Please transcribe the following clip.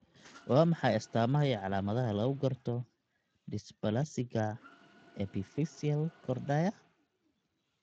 Waa maxay astamaha iyo calaamadaha lagu garto dysplasiga epiphyseal kordaya ?